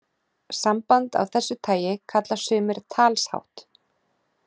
Samband af þessu tagi kalla sumir talshátt.